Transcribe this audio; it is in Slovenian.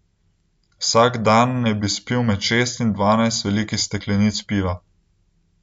Vsak dan naj bi spil med šest in dvanajst velikih steklenic piva.